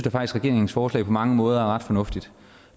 at regeringens forslag på mange måder er ret fornuftigt